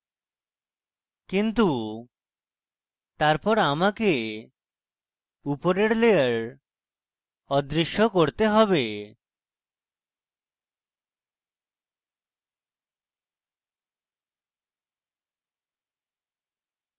কিন্তু তারপর আমাকে উপরের layer অদৃশ্য করতে have